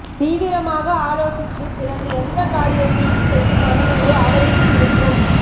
தீவிரமாக ஆலோசித்து பிறகு எந்த காரியத்தையும் செய்யும் மனநிலை அவருக்கு இருக்கும்